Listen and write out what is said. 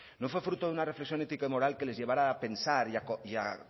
no fue fruto de una reflexión ética y moral que les llevara a pensar